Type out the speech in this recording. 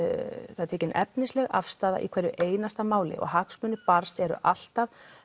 það er tekin efnisleg afstaða í hverju einasta máli og hagsmunir barns eru alltaf